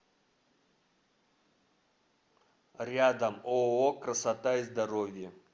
рядом ооо красота и здоровье